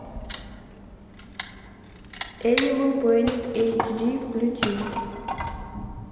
энимел планет эйч ди включи